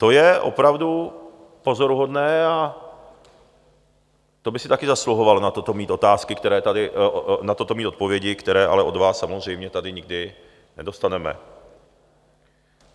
To je opravdu pozoruhodné a to by si taky zasluhovalo na toto mít odpovědi, které ale od vás samozřejmě tady nikdy nedostaneme.